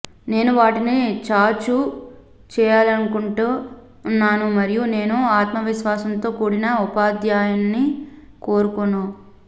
నేను వాటిని చాచు చేయాలనుకుంటున్నాను మరియు నేను ఆత్మవిశ్వాసంతో కూడిన ఉపాధ్యాన్ని కోరుకోను